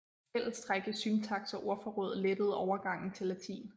Fællestræk i syntaks og ordforråd lettede overgangen til latin